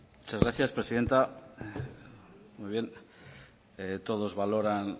muchas gracias presidenta muy bien todos valoran